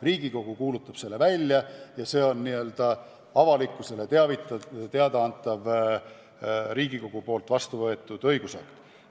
Riigikogu kuulutab selle välja ja see on avalikkusele teada antav Riigikogus vastu võetud õigusakt.